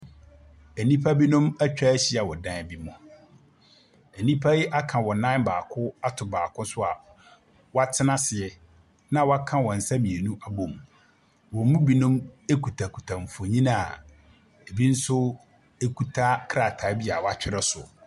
Nnipa binom atwa ahyia wɔ dan bi mu. Nnipa yi aka wɔn nan ato baako so a wɔatena as na wɔaka wɔn nsa mmienu abom. Wɔn mu binom kutakuta mfonin a ebi nso kuta krataa bi a wɔatwerɛ so.